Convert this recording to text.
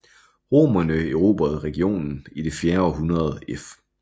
Romerne erobrede regionen i det fjerde århundrede f